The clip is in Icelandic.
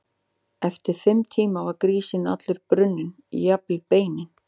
Eftir fimm tíma var grísinn allur brunninn, jafnvel beinin.